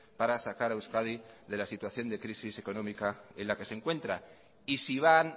para sacar a euskadi de la situación de crisis económica en la que se encuentra y si van